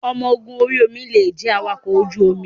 Ọmọ ogun orí omi lè jẹ́ awakọ̀ ojú omi.